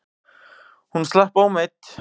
Hún slapp ómeidd.